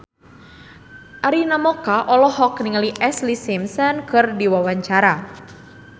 Arina Mocca olohok ningali Ashlee Simpson keur diwawancara